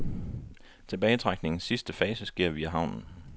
Tilbagetrækningens sidste fase sker via havnen.